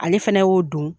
Ale fɛnɛ y'o don